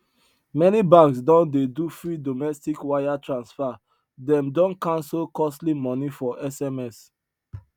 many banks don dey do free domestic wire transfer them don cancel costly money for sms